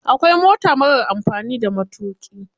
Akwai mota marar amfani da matuƙi.